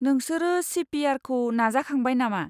नोंसोरो C P आरखौ नाजाखांबाय नामा?